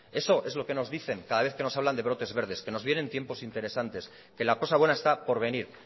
eso es lo que nos dicen cada vez que nos hablan de brotes verdes que nos vienen tiempos interesante que la cosa buena está por venir